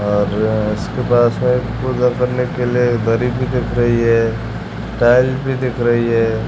और उसके पास हैं कूलर करने के लिए दरी भी दिख रही हैं टाइल भी दिख रही हैं।